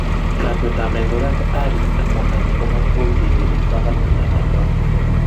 lakwet ab laitoriat Harry ak kwondonyi komatkoutyekei eng panganutik ab laitornatet